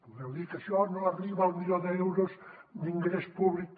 podreu dir que això no arriba al milió d’euros d’ingrés públic